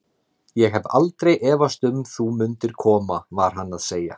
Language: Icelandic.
Ég hef aldrei efast um þú mundir koma var hann að segja.